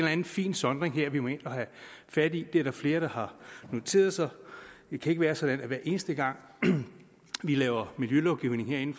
anden fin sondring her vi må ind og have fat i det er der flere der har noteret sig det kan ikke være sådan at vi hver eneste gang vi laver miljølovgivning herinde